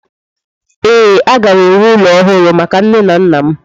Ee, aga m ewu ụlọ ọhụrụ maka nne na nna m.